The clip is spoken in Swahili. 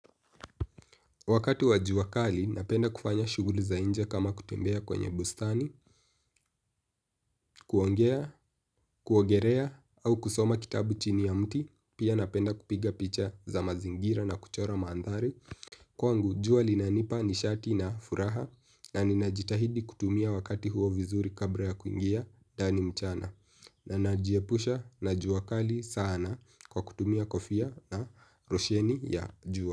Wakati wa jua kali napenda kufanya shuguli zanje kama kutembea kwenye bustani, kuongea, kuogelea au kusoma kitabu chini ya mti, pia napenda kupiga picha za mazingira na kuchora maandhari. Kwangu jua linanipa nishati na furaha na ninajitahidi kutumia wakati huo vizuri kabla ya kuingia ndani mchana. Na najiepusha na jua kali sana kwa kutumia kofia na losheni ya jua.